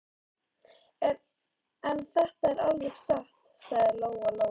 En þetta er alveg satt, sagði Lóa Lóa.